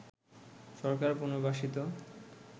সরকার পুনর্বাসিত